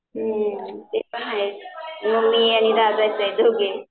हं ते पण आहेच आणि दादाच आहे दोघेच.